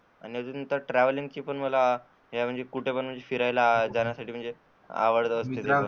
आणि म्हणजे ट्रॅव्हलिंग ची पण मला म्हणजे कुठं पण फिरायला जाण्यासाठी म्हणजे मला आवडत